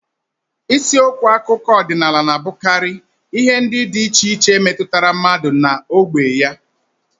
Isiokwu akụkọ ọdịnala na-abụkarị ihe ndị dị iche iche metụtara mmadụ na ógbè ya